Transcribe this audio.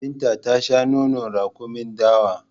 Binta ta shan nonon raƙumin dawa